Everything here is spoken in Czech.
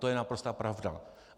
To je naprostá pravda.